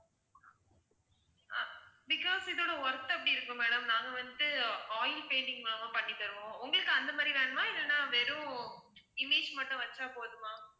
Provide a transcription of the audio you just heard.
because இதோட worth அப்படி இருக்கு madam நாங்க வந்து oil painting லலாம் பண்ணி தருவோம் உங்களுக்கு வந்து அந்த மாதிரி வேணுமா இல்ல வெறும் image மட்டும் வச்சா போதுமா?